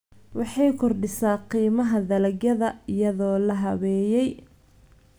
Waxay ku kordhisaa qiimaha dalagyada iyadoo la habeeyey.